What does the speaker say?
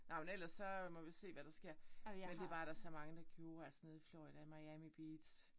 Nå men ellers så må vi se hvad der sker. Men det var der er så mange der gjorde altså nede i Florida Miami Beach